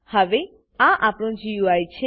હવે આ આપણું ગુઈ છે